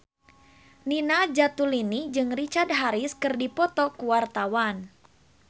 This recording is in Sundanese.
Nina Zatulini jeung Richard Harris keur dipoto ku wartawan